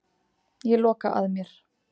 Ég loka að mér.